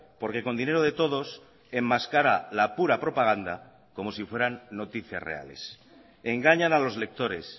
porque con dinero de todos enmascara la pura propaganda como si fueran noticias reales engañan a los lectores